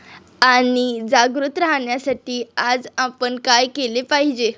आणि जागृत राहण्यासाठी आज आपण काय केले पाहिजे?